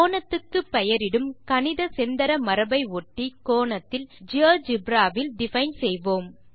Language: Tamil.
கோணத்துக்கு பெயரிடும் கணித செந்தர மரபை ஒட்டி கோணத்தில் ஜியோஜெப்ரா வில் டிஃபைன் செய்வோம்